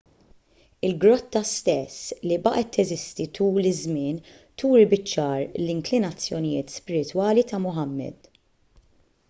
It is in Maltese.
il-grotta stess li baqgħet teżisti tul iż-żmien turi biċ-ċar l-inklinazzjonijiet spiritwali ta' muhammad